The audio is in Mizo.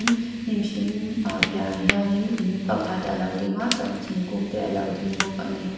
hnim hring ah piahah hianin in pakhat a lo dinga chuan thingkung te alo ding bawk ani.